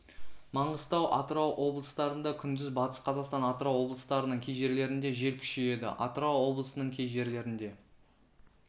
маңғыстау атырау облыстарында күндіз батыс қазақстан атырау облыстарының кей жерлерінде жел күшейеді атырау облысының кей жерлерінде